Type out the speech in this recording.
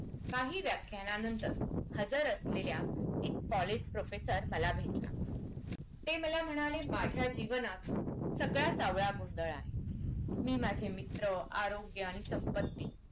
काही व्याख्यानानंतर हजार असलेल्या एक college professor मला भेटला ते मला म्हणाले माझ्या जीवनात सगळाच सावळा गिंधलं आहे मी माझे मित्र आरोग्य आणि संपत्ती